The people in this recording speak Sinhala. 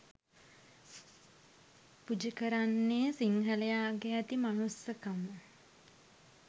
පුජ කරන්නේ සිංහලයාගේ ඇති මනුස්සකම